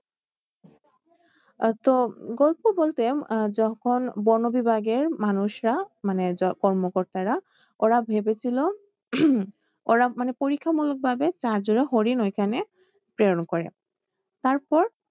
আহ তো গল্প বলতে আহ যখন বন বিভাগের মানুষরা মানে যা কর্ম কর্তারা ওরা ভেবেছিল ওরা মানে পরীক্ষা মুলক ভাবে চার জোড়া হরিন ওইখানে প্রেরণ করে তারপর